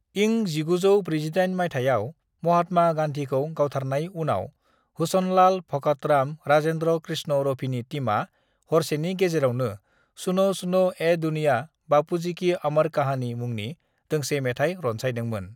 इं 1948 माइथायाव महात्मा गांधीखौ गावथारनाय उनाव हुसनलाल भगतराम-राजेंद्र कृष्ण-रफीनि टीमआ हरसेनि गेजेरावनो "सुनो सुनो ए दुनिया, बापूजी की अमर कहानी" मुंनि दोंसे मेथाइ रनसायदोंमोन।"